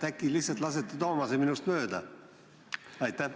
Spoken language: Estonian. Äkki lihtsalt lasete Toomase minust mööda?